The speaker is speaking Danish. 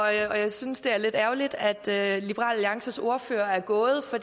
jeg synes det er lidt ærgerligt at liberal alliances ordfører er gået for